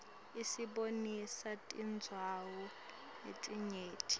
isibonisa tindzawo letinyenti